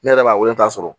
Ne yɛrɛ b'a wele k'a sɔrɔ